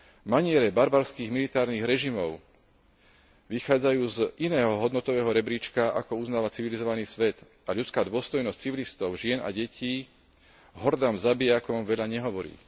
Maniere barbarských militaristických režimov vychádzajú z iného hodnotového rebríčka, ako uznáva civilizovaný svet, a ľudská dôstojnosť civilistov, žien a detí hordám zabijakov veľa nehovorí.